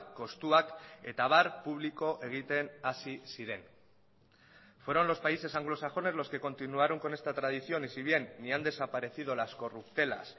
kostuak eta abar publiko egiten hasi ziren fueron los países anglosajones los que continuaron con esta tradición y si bien ni han desaparecido las corruptelas